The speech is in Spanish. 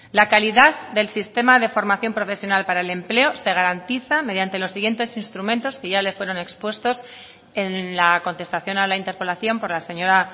la calidad del sistema de formación profesional para el empleo se garantiza mediante los siguientes instrumentos que ya le fueron expuestos en la contestación a la interpelación por la señora